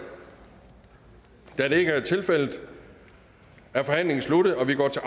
da det ikke er tilfældet er forhandlingen sluttet og vi går til